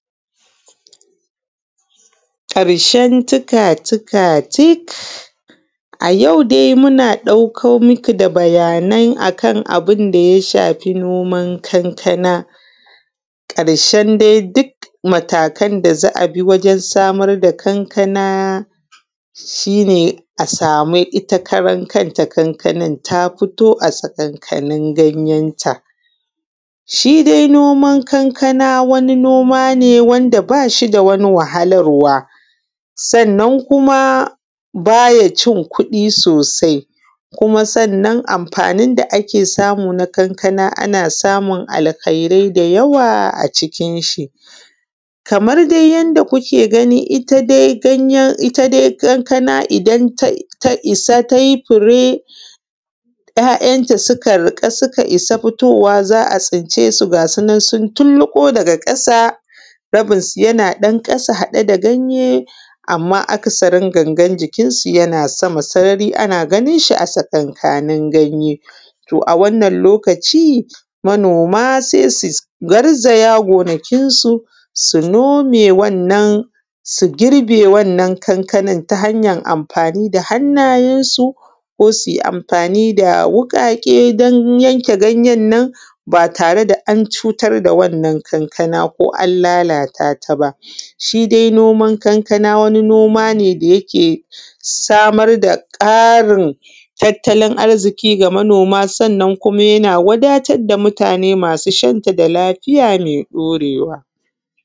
Ƙarshen tikatika tik. A yau dai muna ɗauko muku da bayanai akan abun da ya shafi noman kankana ƙarshen dai duk matakan da za’ayi wajen samar da kankana shine a samu ita kanta kankanan ta fito a ganyenta shi dai noman kankana wani noma ne wanda ba shi da wani wahalarwa, sannan kuma baya cin kuɗi sosai kuma sannan amfanin da ake samu a kaka ana samun alkairai da yawa a cikin shi kamar dai yadda kuke gani ita dai ganyen ita dai kanakana idan ta yi fure ‘ya’yanta suka riƙa suka isa fitowa za a tsince su ga su nan tun tullubo daga ƙasa rabinshi yana haɗe da ƙasa da ganye. Amma akasarin gangan jikin shi yana sama sarari ana gani shi tsakankanin ganye, to a wannan lokaci manoma se su garzaya gonakinsu su nome wannan su girbe wannan kankanan ta hanyan amfani da hannayensu ko suyi amfan da wuƙaƙe dan yanke anyen nan batatare da an cutar da wannan kankanaba ko lalatataba shi dai noman kankana wani nomane da yake samar da ƙarin tattalin arziki da manoma sannan kuma yana wadatar da mutame da lafiya me ɗorewa.